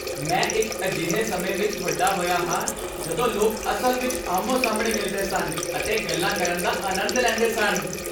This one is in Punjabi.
ਮੈਂ ਇੱਕ ਅਜਿਹੇ ਸਮੇਂ ਵਿੱਚ ਵੱਡਾ ਹੋਇਆ ਹਾਂ ਜਦੋਂ ਲੋਕ ਅਸਲ ਵਿੱਚ ਆਹਮੋ ਸਾਹਮਣੇ ਮਿਲਦੇ ਸਨ ਅਤੇ ਗੱਲਾਂ ਕਰਨ ਦਾ ਅਨੰਦ ਲੈਂਦੇ ਸਨ